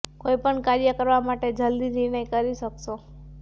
કોઈ પણ કાર્ય કરવા માટે જલદી નિર્ણય કરી શકશો